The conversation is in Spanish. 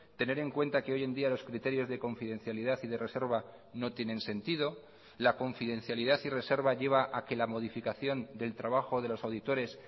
tener en cuenta que hoy en día los criterios de confidencialidad y de reserva no tienen sentido la confidencialidad y reserva lleva a que la modificación del trabajo de los auditores